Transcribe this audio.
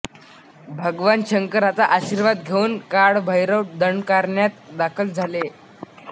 भगवान शंकराचा आशीर्वाद घेऊन बाळभैरव दंडकारण्यात दाखल झाले